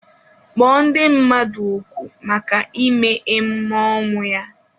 Kpọọ ndị mmadụ oku maka imee emume ọnwụ ya!